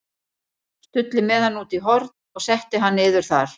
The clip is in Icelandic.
Stulli með hann út í horn og setti hann þar niður.